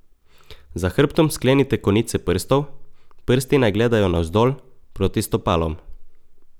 Za hrbtom sklenite konice prstov, prsti naj gledajo navzdol, proti stopalom.